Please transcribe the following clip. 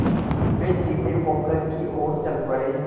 वे सीधे पोखर की ओर चल पड़े